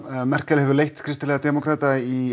Merkel hefur leitt kristilega demókrata í